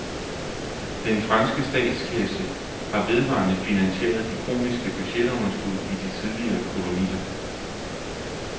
Den franske statskasse har vedvarende finansieret de kroniske budgetunderskud i de tidligere kolonier.